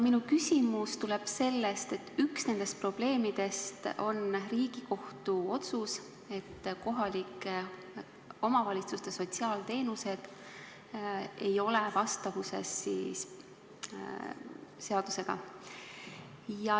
Minu küsimus tuleb sellest, et üks nendest probleemidest on Riigikohtu otsus, et kohalike omavalitsuste sotsiaalteenused ei ole vastavuses seadusega.